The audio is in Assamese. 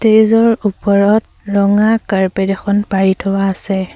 ষ্টেজ ৰ ওপৰত ৰঙা কাৰ্পেট এখন পাৰি থোৱা আছে।